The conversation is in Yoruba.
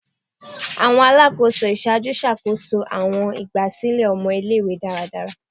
Awọn Alakoso iṣaaju ṣakoso awọn igbasilẹ ọmọ ile-iwe daradara